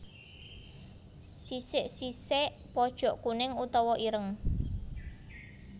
Sisik sisék pojok kuning utawa ireng